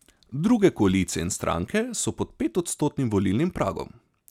Druge koalicije in stranke so pod petodstotnim volilnim pragom.